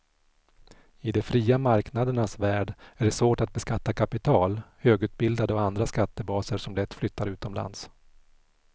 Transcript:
I de fria marknadernas värld är det svårt att beskatta kapital, högutbildade och andra skattebaser som lätt flyttar utomlands.